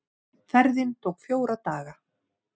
Ferðin tók fjóra daga.